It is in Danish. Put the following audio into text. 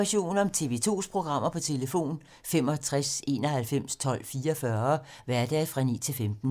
Information om TV 2's programmer: 65 91 12 44, hverdage 9-15.